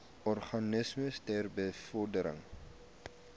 organisasies ter bevordering